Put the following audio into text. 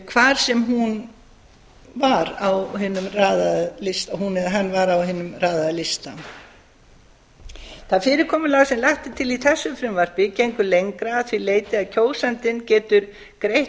hvar sem hún eða hann var á hinum raðaða lista það fyrirkomulag sem lagt er til í þessu frumvarpi gengur lengra að því leyti að kjósandinn getur greitt